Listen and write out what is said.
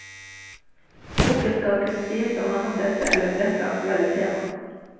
Boken skal kunne sies å handle om dette eller dette aktuelle tema.